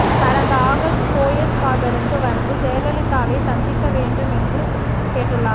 கடந்த ஆகஸ்ட் போயஸ் கார்டனுக்கு வந்து ஜெயலலிதாவை சந்திக்க வேண்டும் என்று கேட்டுள்ளார்